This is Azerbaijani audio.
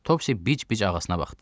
Topsi bic-bic ağasına baxdı.